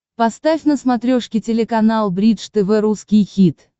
поставь на смотрешке телеканал бридж тв русский хит